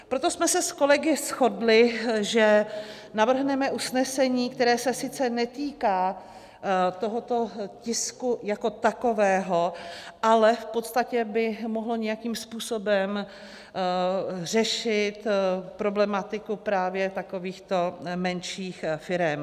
Proto jsme se s kolegy shodli, že navrhneme usnesení, které se sice netýká tohoto tisku jako takového, ale v podstatě by mohlo nějakým způsobem řešit problematiku právě takovýchto menších firem.